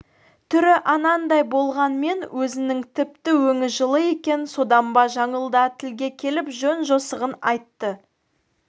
түрі анандай болғанмен өзінің тіпті өңі жылы екен содан ба жаңыл да тілге келіп жөн-жосығын айтты